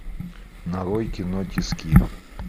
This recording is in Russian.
нарой кино тиски